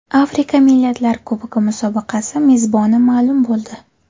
Afrika Millatlar Kubogi musobaqasi mezboni ma’lum bo‘ldi.